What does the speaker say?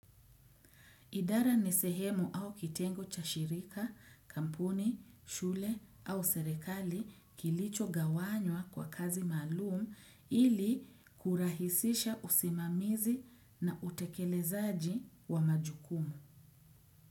Idara ni sehemu au kitengo cha shirika, kampuni, shule au serekali kilicho gawanywa kwa kazi maalumu ili kurahisisha usimamizi na utekelezaji wa majukumu.